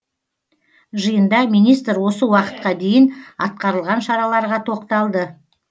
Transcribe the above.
жиында министр осы уақытқа дейін атқарылған шараларға тоқталды